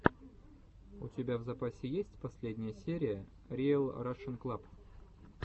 у тебя в запасе есть последняя серия риэл рашен клаб